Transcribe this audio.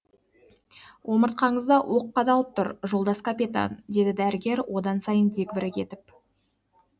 омыртқаңызда оқ қадалып тұр жолдас капитан деді дәрігер одан сайын дегбірі кетіп